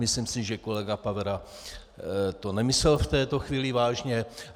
Myslím si, že kolega Pavera to nemyslel v této chvíli vážně.